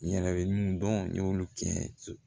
Yɛrɛ bɛ mun dɔn n y'olu kɛ